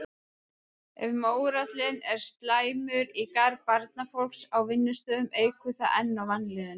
Ef mórallinn er slæmur í garð barnafólks á vinnustaðnum eykur það enn á vanlíðanina.